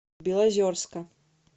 белозерска